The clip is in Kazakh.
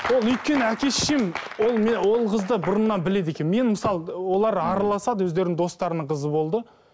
ол өйткені әке шешем ол ол қызды бұрыннан біледі екен мен мысалы олар араласады өздерінің достарының қызы болды